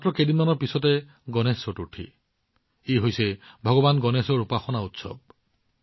মাত্ৰ কেইদিনমানৰ পিছত উদযাপন হবলগীয়া গণেশ চতুৰ্থী হৈছে ভগৱান গণেশৰ উপাসনা উৎসৱ